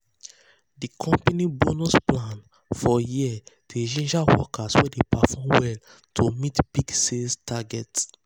the company bonus plan for year dey ginger workers wey dey perform well to meet big sales target.